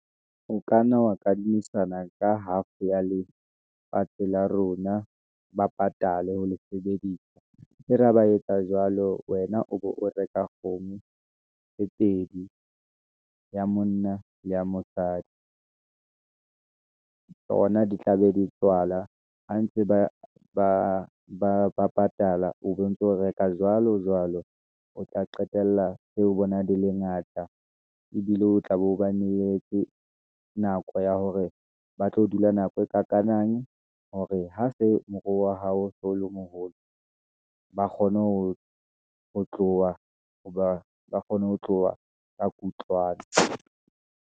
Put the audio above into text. O kanna wa kadimisana ka half ya lefatshe la rona, ba patale ha le sebedisa, e re a ba etsa jwalo. Wena o be o reka kgomo tse pedi, ya monna le mosadi , tsona di tla be di tswala, ha ntse ba patala, o be o ntso reka jwalo jwalo. O tla qetella seo bona di le ngata, ebile o tla be o ba neyetse, nako ya hore ba tlo dula nako e kakanang, hore ha se moruo wa hao so le moholo, hoba ba kgone ho tloha ka kutlwano.